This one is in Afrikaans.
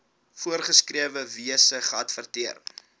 voorgeskrewe wyse geadverteer